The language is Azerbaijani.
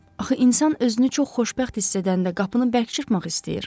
Axı insan özünü çox xoşbəxt hiss edəndə qapını bərk çırpmaq istəyir.